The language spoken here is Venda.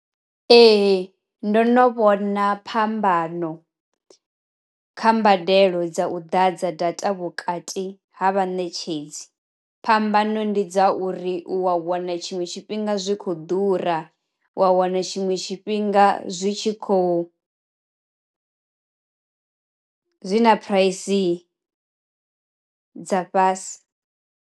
Ee ndono vhona phambano, kha mbadelo dza u ḓadza data vhukati ha vha netshedzi phambano ndi dza uri u wa wana tshiṅwe tshifhinga zwikho ḓura, wa wana tshinwe tshifhinga zwi tshi khou zwi na phuraisi dza fhasi.